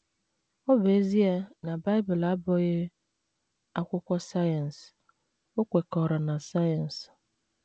Ọ bụ ezie na Bible abụghị akwụkwọ sayensị, o kwekọrọ na sayensị.